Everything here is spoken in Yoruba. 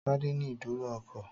Tádé ní ìdúró ọkọ̀